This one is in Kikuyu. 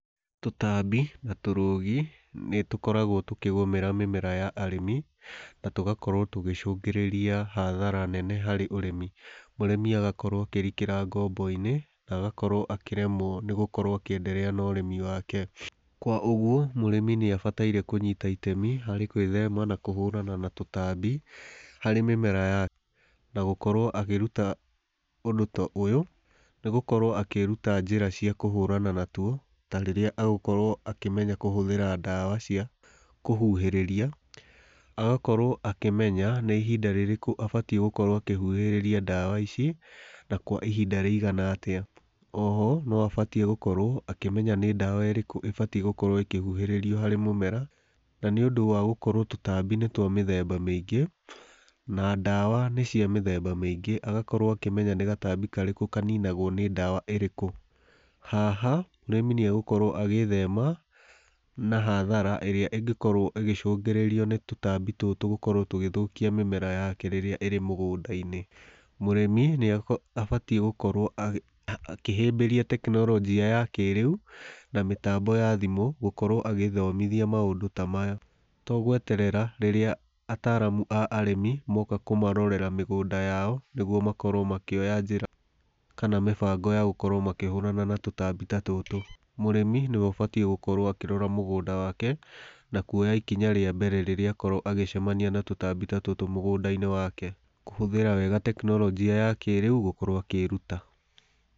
Tũtambi na tũrũgi nĩ tũkoragwo tũkĩgũmĩra mĩmera ya arĩmi, na tũgakorwo tũkĩgũcũngĩrĩria hathara nene harĩ ũrĩmi. Mũrĩmi agakorwo akĩrikĩra ngombo-inĩ, na agakorwo akĩremwo nĩ gũkorwo akĩenderea na ũrĩmi wake. Kwa ũguo, mũrĩmi nĩ abataire kũnyita itemi harĩ gwĩthema na kũhũrana na tũtambi harĩ mĩmera yake, na gũkorwo akĩruta ũndũ ta ũyũ, nĩ gũkorwo akĩĩruta njĩra cia kũhũrana natuo, ta rĩrĩa agũkorwo akĩmenya kũhũthĩra ndawa cia kũhuhĩrĩria. Agakorwo akĩmenya nĩ ihinda rĩrĩkũ abatiĩ gũkorwo akĩhuhĩrĩria ndawa ici, na kwa ihinda rĩigana atĩa. Oho, no abatiĩ gũkorwo akĩmenya nĩ ndawa ĩrĩkũ ĩbatiĩ gũkorwo ĩkĩhuhĩrĩrio harĩ mũmera, na nĩ ũndũ wa gũkorwo tũtambi nĩ twa mĩthemba mĩingĩ, na ndawa nĩ cia mĩthemba mĩingĩ, agakorwo akĩmenya nĩ gatambi karĩkũ kaninagwo nĩ ndawa ĩrĩkũ. Haha, mũrĩmi nĩ agũkorwo agĩĩthema na hathara ĩrĩa ĩngĩkorwo ĩgĩcũngĩrĩrio nĩ tũtambi tũtũ gũkorwo tũgĩthũkia mĩmera yake rĩrĩa ĩrĩ mũgũnda-inĩ. Mũrĩmi nĩ abatiĩ gũkorwo akĩhĩmbĩria tekinoronjia ya kĩrĩu, na mĩtambo ya thimũ gũkorwo agĩĩthomothia maũndũ ta maya, to gweterera rĩrĩa ataramu a ũrĩmi moka kũmarorera mĩgũnda yao nĩguo makorwo makĩoya njĩra kana mĩbango ya gũkorwo makĩhũrana na tũtambi ta tũtũ. Mũrĩmi nĩ we ũbatiĩ gũkorwo akĩrora mũgũnda wake, na kũoya ikinya rĩa mbere rĩrĩa akorwo agĩcamania na tũtambi ta tũtũ mũgũnda-inĩ wake, kũhũthĩra wega tekinoronjia ya kĩrĩu gũkorwo akĩĩruta.